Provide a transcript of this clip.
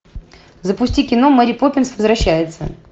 запусти кино мэри поппинс возвращается